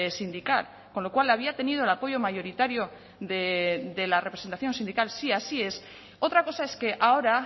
sindical con lo cual había tenido el apoyo mayoritario de la representación sindical si así es otra cosa es que ahora